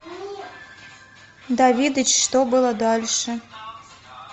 давидыч что было дальше